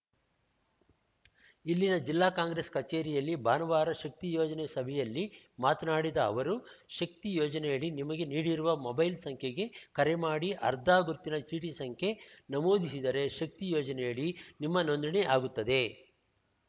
ಇಲ್ಲಿನ ಜಿಲ್ಲಾ ಕಾಂಗ್ರೆಸ್‌ ಕಚೇರಿಯಲ್ಲಿ ಭಾನುವಾರ ಶಕ್ತಿ ಯೋಜನೆ ಸಭೆಯಲ್ಲಿ ಮಾತನಾಡಿದ ಅವರು ಶಕ್ತಿ ಯೋಜನೆಯಡಿ ನಿಮಗೆ ನೀಡಿರುವ ಮೊಬೈಲ್‌ ಸಂಖ್ಯೆಗೆ ಕರೆ ಮಾಡಿ ಅರ್ಧಾ ಗುರುತಿನ ಚೀಟಿ ಸಂಖ್ಯೆ ನಮೂದಿಸಿದರೆ ಶಕ್ತಿ ಯೋಜನೆಯಡಿ ನಿಮ್ಮ ನೋಂದಣಿ ಆಗುತ್ತದೆ